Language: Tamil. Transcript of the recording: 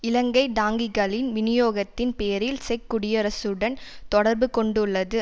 இலங்கை டாங்கிகளின் விநியோகத்தின் பேரில் செக் குடியரசுடன் தொடர்பு கொண்டுள்ளது